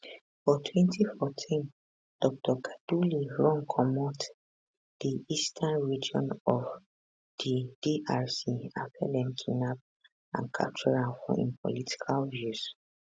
for 2014 dr kaduli run comot di eastern region of di drc afta dem kidnap and capture am for im political views